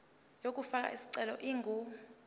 yokufaka isicelo ingu